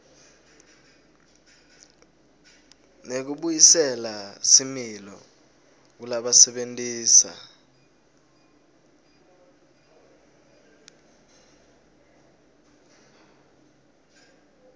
nekubuyisela similo kulabasebentisa